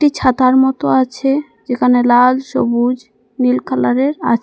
ছাতার মতো আছে যেখানে লাল সবুজ নীল কালারের আচে--